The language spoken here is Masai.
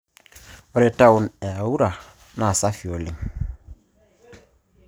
Ore toan e Aura naa safi oleng'